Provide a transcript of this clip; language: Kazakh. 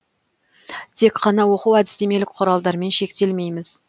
тек қана оқу әдістемелік құралдармен шектелмейміз